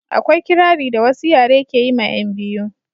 akwai kirari da wasu yare ke yi ma 'yan biyu